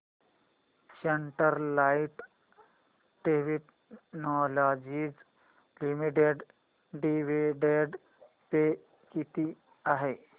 Sterlite Technologies limited dividend pay किती आहे